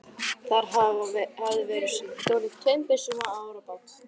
Þar hafði verið stolið tveimur byssum og árabát.